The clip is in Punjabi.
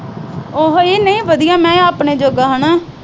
ਉਹ ਵਧੀਆ ਆਪਣੇ ਜੋਗਾ ਹਨਾ।